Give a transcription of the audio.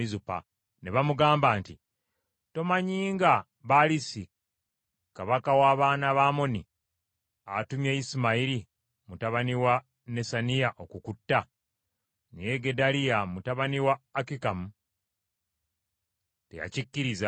Ne bamugamba nti, “Tomanyi nga Baalisi kabaka w’abaana ba Amoni atumye Isimayiri mutabani wa Nesaniya okukutta?” Naye Gedaliya mutabani wa Akikamu teyakikkiriza.